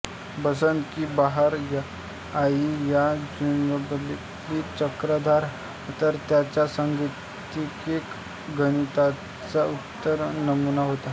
बसंत की बहार आयी या जुगलबंदीतील चक्रधार हा तर त्यांच्या सांगीतिक गणिताचा उत्तम नमुना होता